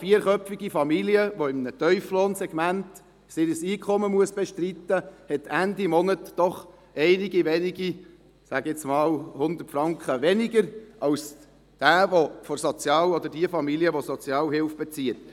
Eine vierköpfige Familie, die mit einem Einkommen im Tieflohnsegment ihr Leben bestreiten muss, hat Ende Monat doch einige wenige – sage ich nun einmal – 100 Franken weniger als die Familie, die Sozialhilfe bezieht.